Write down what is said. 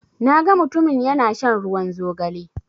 Na ga mutumin ya na shan ruwan zogale